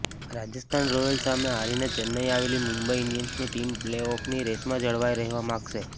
Rajasthan Royals સામે હારીને ચેન્નઇ આવેલી મુંબઇ ઇન્ડિયન્સની ટીમ પ્લે ઓફની રેસમાં જળવાઇ રહેવા માગશે